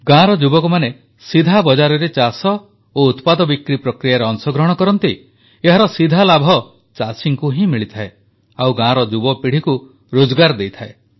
ଗ୍ରାମ ଯୁବକମାନେ ସିଧା ବଜାରରେ ଚାଷ ଓ ଉତ୍ପାଦ ବିକ୍ରି ପ୍ରକ୍ରିୟାରେ ଅଂଶଗ୍ରହଣ କରନ୍ତି ଏହାର ସିଧା ଲାଭ ଚାଷୀଙ୍କୁ ହିଁ ହୋଇଥାଏ ଗାଁର ଯୁବପିଢ଼ିକୁ ରୋଜଗାର ଦେଇଥାଏ